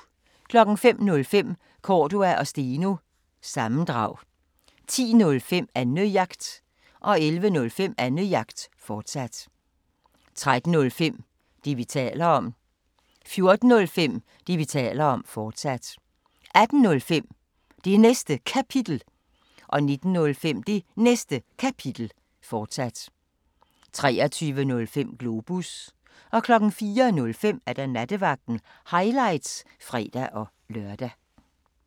05:05: Cordua & Steno – sammendrag 10:05: Annejagt 11:05: Annejagt, fortsat 13:05: Det, vi taler om 14:05: Det, vi taler om, fortsat 18:05: Det Næste Kapitel 19:05: Det Næste Kapitel, fortsat 23:05: Globus 04:05: Nattevagten – highlights (fre-lør)